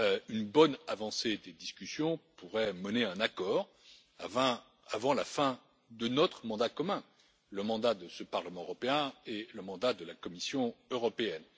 Une bonne avancée des discussions pourrait mener à un accord avant la fin de notre mandat commun, le mandat de ce Parlement européen et le mandat de la Commission européenne.